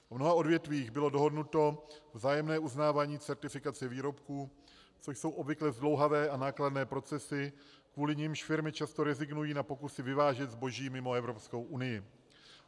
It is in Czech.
V mnoha odvětvích bylo dohodnuto vzájemné uznávání certifikace výrobků, což jsou obvykle zdlouhavé a nákladné procesy, kvůli nimž firmy často rezignují na pokusy vyvážet zboží mimo Evropskou unii.